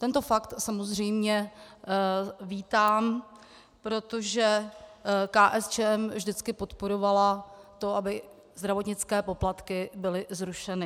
Tento fakt samozřejmě vítám, protože KSČM vždycky podporovala to, aby zdravotnické poplatky byly zrušeny.